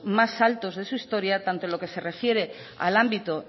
más altos de su historia tanto en lo que se refiere al ámbito